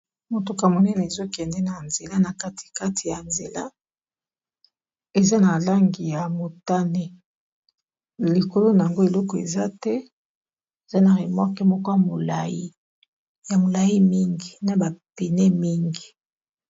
Motuka monene ezokende na nzela na katikati ya nzela eza na langi ya motane likolo nango eloko eza te eza na remorke moko ya molai mingi na ba pneu mingi.